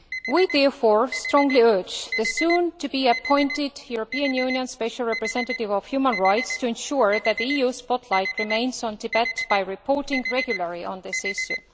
We therefore strongly urge the soon to be appointed European Union Special Representative for Human Rights to ensure that the EU spotlight remains on Tibet by reporting regularly on this issue.